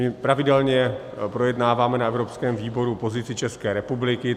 My pravidelně projednáváme na evropském výboru pozici České republiky.